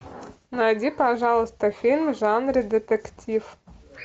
найди пожалуйста фильм в жанре детектив